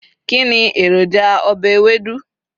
kini eroja obe Ewédú